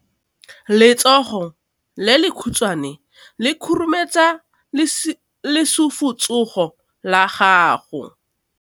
Letsogo le lekhutshwane le khurumetsa lesufutsogo la gago.